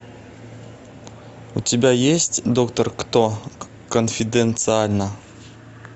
у тебя есть доктор кто конфиденциально